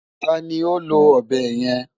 Ta ni ó lo ọ̀bẹ yẹn?